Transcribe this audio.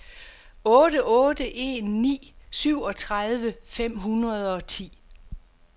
otte otte en ni syvogtredive fem hundrede og ti